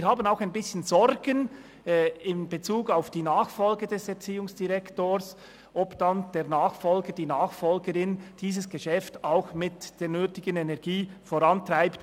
Wir haben auch ein bisschen Sorgen in Bezug auf die Nachfolge des Erziehungsdirektors und in Bezug darauf, ob der Nachfolger, die Nachfolgerin dieses Geschäft ebenfalls mit der nötigen Energie vorantreibt.